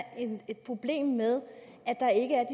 et problem med at der ikke er